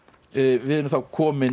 við erum þá komin